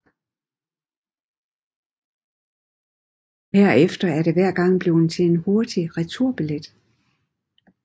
Herefter er det hver gang blevet til en hurtig returbillet